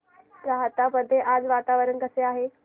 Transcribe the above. राहता मध्ये आज वातावरण कसे आहे